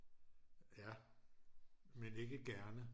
ja men ikke gerne